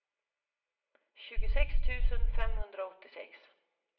tjugosex tusen femhundraåttiosex